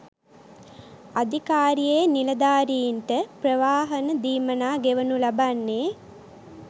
අධිකාරියේ නිලධාරින්ට ප්‍රවාහන දීමනා ගෙවනු ලබන්නේ